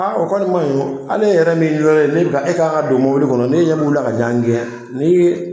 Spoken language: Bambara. o kɔni man ɲi o hali e yɛrɛ min ye lonna ye ni e kan ka don mɔbili kɔnɔ n'e ɲɛ b'u la ka ɲɔgɔn gɛn ni